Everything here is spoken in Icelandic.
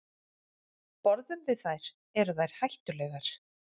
Borðum við þær, eru þær hættulegar?